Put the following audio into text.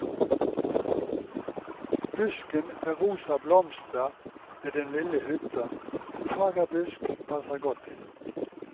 Busken med rosa blomster ved den lille hytta, en fagerbusk, passer godt inn.